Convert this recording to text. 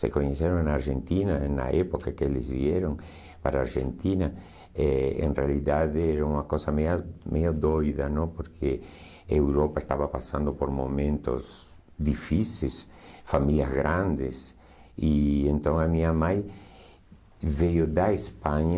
Se conheceram na Argentina, na época que eles vieram para a Argentina, eh em realidade era uma coisa meio doida, não? porque a Europa estava passando por momentos difíceis, famílias grandes, e então a minha mãe veio da Espanha,